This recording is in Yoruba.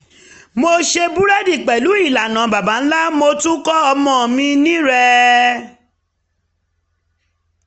mo ṣe búrẹ́dì pẹ̀lú ìlànà baba ńlá mo tún kọ́ ọmọ mi ní rẹ̀